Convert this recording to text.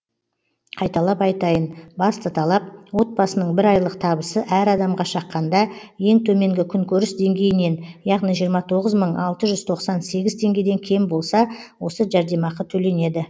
қайталап айтайын басты талап отбасының бір айлық табысы әр адамға шаққанда ең төменгі күнкөріс деңгейінен яғни жиырма тоғыз мың алты жүз тоқсан сегіз теңгеден кем болса осы жәрдемақы төленеді